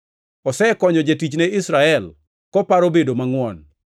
Osekonyo jatichne Israel, koparo bedo mangʼwon,